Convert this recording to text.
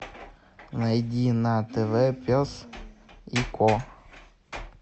найди на тв пес и ко